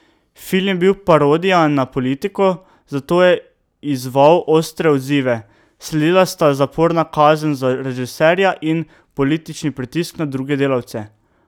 Film je bil parodija na politiko, zato je izzval ostre odzive, sledila sta zaporna kazen za režiserja in politični pritisk na druge sodelavce.